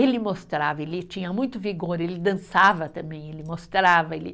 Ele mostrava, ele tinha muito vigor, ele dançava também, ele mostrava, ele